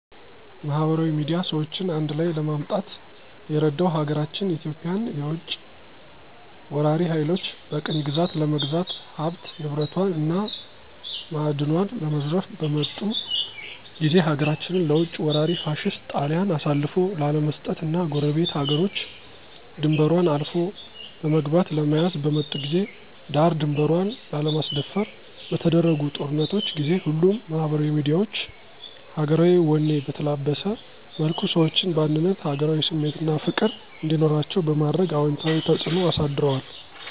ማህበራዊ ሚድያ ሰዎችን አንድላይ ለማምጣት የረዳው ሀገራችን ኢትዮጵያን የውጭ ወራሪ ሀይሎች በቅኝ ግዛት ለመግዛት ሀብት ንብረቷን እና ማእድኗን ለመዝረፍ በመጡ ጊዜ ሀገራችንን ለውጭ ወራሪ ፋሽስት ጣሊያን አሳልፎ ላለመስጠት እና ጎረቤት ሀገሮች ድንበሯን አልፎ በመግባት ለመያዝ በመጡ ጊዜ ዳር ድንበሯን ላለማስደፈር በተደረጉ ጦርነቶች ጊዜ ሁሉም ማህበራዊ ሚዲያዎች ሀገራዊ ወኔ በተላበሰ መልኩ ሰዎችን በአንድነት ሀገራዊ ስሜት አና ፍቅር እንዲኖራቸዉ በማድረግ አወንታዊ ተጽእኖ አሳድረዋል።